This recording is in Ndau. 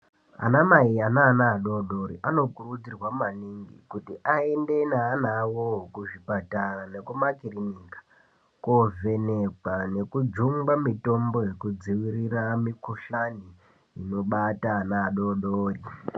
Ana mai eana adodori anokurudzirwa kuti aende neana awo kuzvipatara nekumakirinika kovhenekwa nekujumgwa mutombo yekudzivirira mikhuhlane inobata ana adodori.